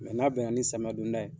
n'a bɛnna ni samiya don da ye